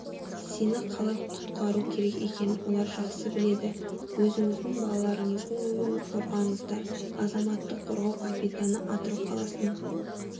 сені қалай құтақару керек екенін олар жақсы біледі өзіңіздің балаларыңыздың өмірін қорғаңыздар азаматтық қорғау капитаны атырау қаласының